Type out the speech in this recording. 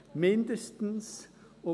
«mindestens».